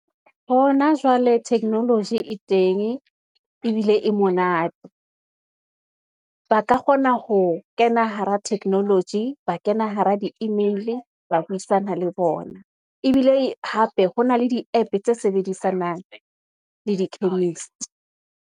Hona jwale, technology e teng, ebile e monate, ba ka kgona ho kena hara technology, ba kena hara di-email, ba buisana le bona. Ebile hape ho na le di-app tse sebedisanang le di-chemist.